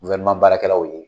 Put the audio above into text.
baara kɛlaw ye.